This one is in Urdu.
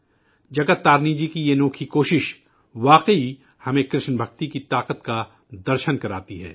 جگت تارینی جی کی یہ شاندار کوشش، واقعی ہمیں کرشن بھکتی کی طاقت کا درشن کراتی ہے